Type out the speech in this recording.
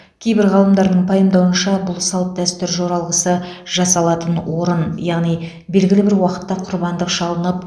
кейбір ғалымдардың пайымдауынша бұл салт дәстүр жоралғысы жасалатын орын яғни белгілі бір уақытта құрбандық шалынып